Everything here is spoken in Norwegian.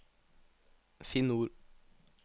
Finn ord